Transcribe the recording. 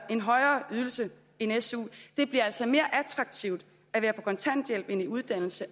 en højere ydelse end su det bliver altså mere attraktivt at være på kontanthjælp end i uddannelse